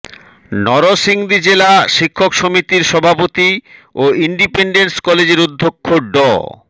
নরসিংদী জেলা শিক্ষক সমিতির সভাপতি ও ইন্ডিপেনডেন্ট কলেজের অধ্যক্ষ ড